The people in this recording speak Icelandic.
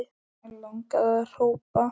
Langaði að hrópa